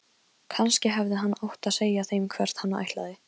Kannski hefði hann átt að segja þeim hvert hann ætlaði.